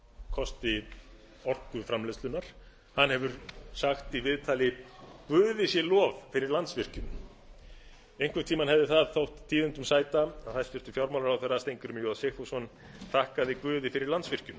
kosti orkuframleiðslunnar hann hefur sagt í viðtali guði sé lof fyrir landsvirkjun einhvern tímann hefði það þótt tíðindum sæta að hæstvirtur fjármálaráðherra steingrímur j sigfússon þakkaði guði fyrir landsvirkjun